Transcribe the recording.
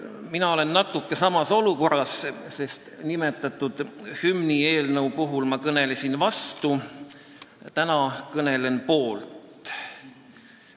Mina olen natuke samas olukorras, sest mainitud hümnieelnõule ma kõnelesin vastu ja täna kõnelen eelnõu poolt.